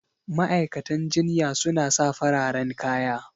Ma'aikatan jinya suna sa fararen kaya